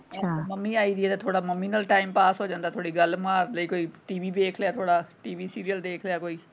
Mummy ਆਈ ਦੀ ਆ ਥੋੜਾ ਮੰਮੀ ਨਾਲ time pass ਹੋ ਜਾਂਦਾ ਥੋੜੀ ਗੱਲ ਮਾਰਲੀ ਕੋਈ TV ਦੇਖ ਲਿਆ ਥੋੜਾ TV serial ਦੇਖ ਲਿਆ ਕੋਈ।